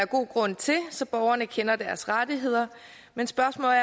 god grund til så borgerne kender deres rettigheder men spørgsmålet